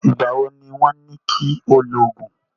Ìgbà wo ni wọ́n ní kí o lògùn?